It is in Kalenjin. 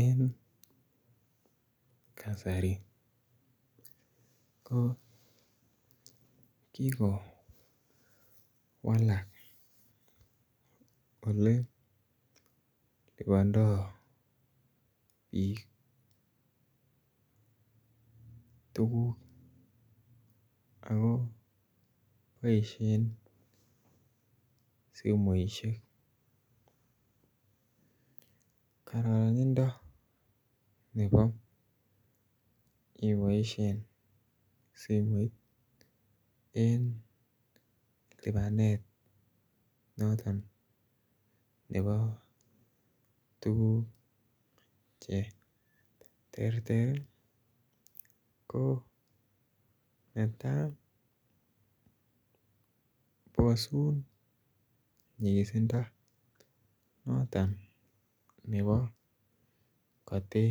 En kasari ko kikowalak ole lipondo biik tuguk ako boishen simoishek. Kororonindo nebo iboishen simoit en lipanet noton nebo tuguk che terter ii ko netaa bosun nyigisindo noton nebo kote